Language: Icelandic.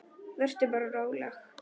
Vertu bara róleg.